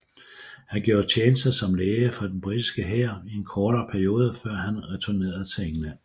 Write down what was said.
Han gjorde tjeneste som læge for den britiske hær i en kortere periode før han returnerede til England